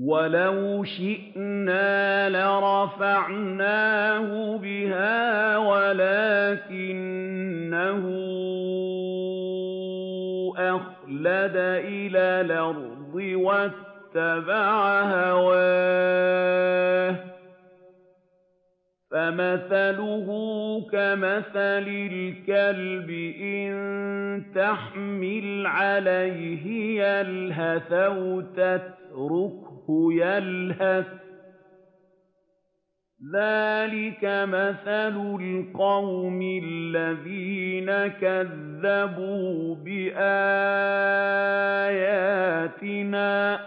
وَلَوْ شِئْنَا لَرَفَعْنَاهُ بِهَا وَلَٰكِنَّهُ أَخْلَدَ إِلَى الْأَرْضِ وَاتَّبَعَ هَوَاهُ ۚ فَمَثَلُهُ كَمَثَلِ الْكَلْبِ إِن تَحْمِلْ عَلَيْهِ يَلْهَثْ أَوْ تَتْرُكْهُ يَلْهَث ۚ ذَّٰلِكَ مَثَلُ الْقَوْمِ الَّذِينَ كَذَّبُوا بِآيَاتِنَا ۚ